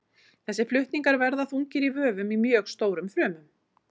Þessir flutningar verða þungir í vöfum í mjög stórum frumum.